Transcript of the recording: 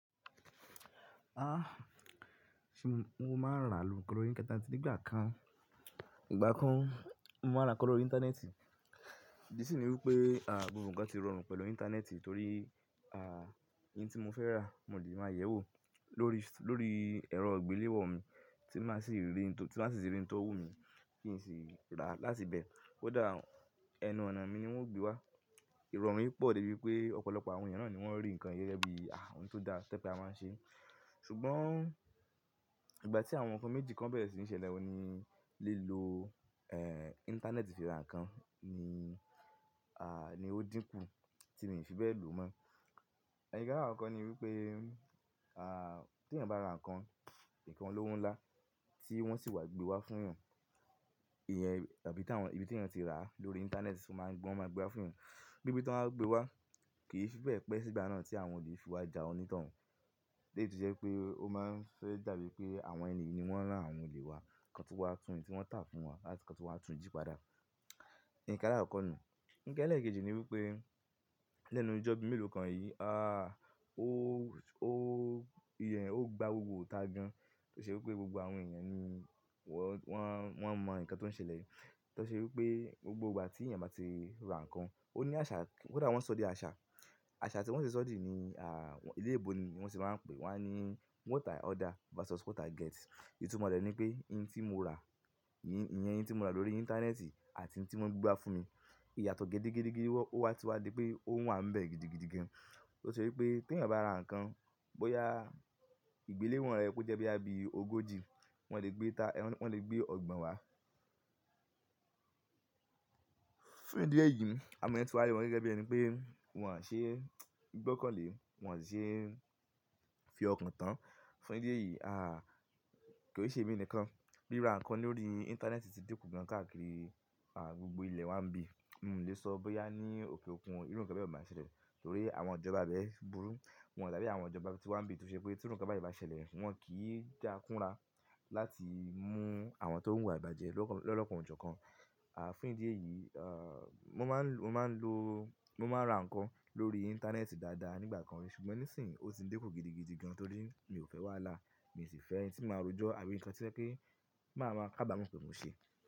Ah! Ṣé mo máa ń rà àlùkò lórí íńtánẹ́ẹ̀tì nígbà kan? Ìgbà kan mo máa ń rà nǹkan lórí íńtánẹ́ẹ̀tì, ìdí ṣìní wípé à gbogbo nǹkan ti rọrùn pẹ̀lú íńtánẹ́ẹ̀tì torí àá nǹkan tí mo fẹ́ rà mo leè máa yẹ̀ ẹ́ wò lórí, lórí ẹ̀rọ ìgbéléwọ́ mi tí máa sì rí n tò, tí máa sì rí n tọ́ wù mí kí n sì rà láti ibẹ̀. Ó dá ẹnu ọ̀nà mi ni wọ́n ó gbé wá. Irọ̀rùn yìí pọ̀ débi pé ọ̀pọ̀lọpọ̀ àwọn ènìyàn náà ni wọ́n rí nǹkan gẹ́gẹ́ bíi àh! Ohun tó da te pé a máa ń ṣe. Ṣùgbọ́n ìgbà tí àwọn nǹkan méjì kan bẹ̀rẹ̀ sí ní ṣẹlẹ̀, òun ní lílò ẹ́ íńtánẹ́ẹ̀tì fi ra nǹkan ni àá ni ó dínkù tí mi n fi bẹ̀ lo mọ́. Nkan alakokọ́ ni wípé à tí ẹyan bá ra nǹkan, nǹkan olówó ńlá tí wọ́n sì wá gbé wá fún ẹyàn, ìyẹn tàbí ibi tí ẹyan ti rà á lórí íńtánẹ́ẹ̀tì wọn máa gbé wá fún ẹyàn. Bí bí tọ́n bá gbé wá kì í fi bẹ̀ pé sígbà náà tí àwọn òle fiwaja àwọn onítọ̀hún. Lẹ́yì to jé pé ó máa ń fẹ́ dàbí pé àwọn ènìyi ni wọ́n rán àwọn olè wá, kan tún wá tún òun tí wọ́n tà fún wa láti kan tún wá tún jí padà. Nǹkan alakoko nu. Ǹkan ẹlẹ́ẹ̀kejì ni wípé lẹ́nu ijọ́òbì mélòó kan yìí a o ó ìyẹn ó gba gbogbo itá gan. Tó ṣe wípé gbogbo àwọn ènìyàn ni wọ́n, wọ́n mọ nǹkan tó ń ṣẹlẹ̀ yìí. Tọ ṣe wípé gbogbo ìgbà tí ẹyan bá ti ra nǹkan ó ní àṣà, ko dá wọn sọ̀dí àṣà. Àṣà tí wọ́n ti sọ̀dí ni à ìléèbó ni wọ́n ti máa ń pèé wá ní "what i order versus what i get". Itumo re ní pé n tí mo rà lórí íńtánẹ́ẹ̀tì àti n tí wọ́n gbé wá fún mi, ìyàtọ̀ gé gede, gede, gede ọ́ wá tiwa di pé ó wà ń bẹ̀ gidi, gidi gan. Tọ ṣe wípé tí ẹyan bá ra nǹkan bóyá ìgbéléwọ̀n rẹ̀ re ye ko jẹ́ bọ́ya ogójì wọ́n le gbé ìta, wọ́n le gbé ọ̀gbọ̀n wá. Fún ìdí èyí àwọn èèyàn ti wa ri wọn gẹ́gẹ́ bi ẹni pé wọn ṣe gbọ́kàn lé, wọn ṣe fi ọkàn tán. Fún ìdí èyí, kó n ṣemí nìkan rira nǹkan lórí íńtánẹ́ẹ̀tì tí diku gan káàkiri gbogbo ilẹ̀ wá ń bí. Mi o le so bóyá ni òkè òkun, irú kan báyẹn le ma ṣẹlẹ̀ torí àwọn ìjọba ibẹ̀ burú, won o dàbí àwọn ìjọba ti wa n bi to se pe ti irú nkan báyẹn ba ṣẹlẹ̀ won ki n da kúnra láti mu àwọn to n wu ìwà ìbàjẹ́ lolokan ojokan. À fún ìdí èyí mo máa ń lo, mo máa ń lo, mo máa ń ra nǹkan lórí íńtánẹ́ẹ̀tì dáadáa nígbà kan rí ṣùgbọ́n nísìnyí ó ti dikù gidi, gidi gan torí mi ò fẹ́ wàhálà. Mi sì fẹ́ n tí màá rojọ́ àbí nǹkan tí to jé pé ti máa máa kábàámọ̀ pé mo ṣe.